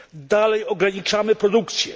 Dalej ograniczamy produkcję.